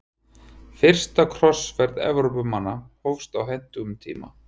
Fyrsta krossferð Evrópumanna hófst á hentugum tíma.